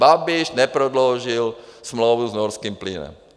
Babiš neprodloužil smlouvu s norským plynem.